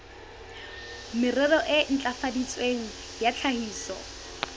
merero e ntlafaditsweng ya tlhahiso